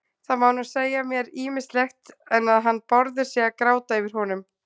Það má nú segja mér ýmislegt, en að hann Bárður sé að gráta yfir honum